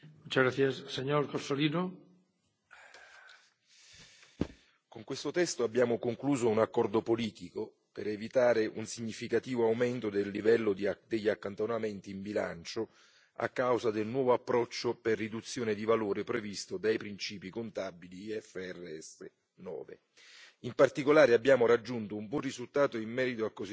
Signor Presidente, onorevoli colleghi, con questo testo abbiamo concluso un accordo politico per evitare un significativo aumento del livello degli accantonamenti in bilancio a causa del nuovo approccio per riduzione di valore previsto dai principi contabili IFRS 9. In particolare, abbiamo raggiunto un buon risultato in merito al cosiddetto